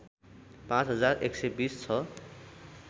पाँच हजार १२० छ